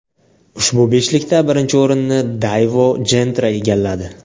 Ushbu beshlikda birinchi o‘rinni Daewoo Gentra egalladi.